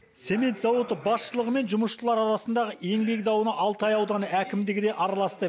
цемент зауыты басшылығы мен жұмысшылар арасындағы еңбек дауына алтай ауданы әкімдігі де араласты